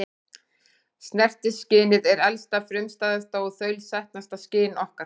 Snertiskynið er elsta, frumstæðasta og þaulsetnasta skyn okkar.